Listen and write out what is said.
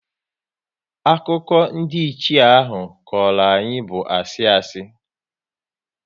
Akụkọ ndiiche ahụ ọ kọrọ anyị bụ asị asị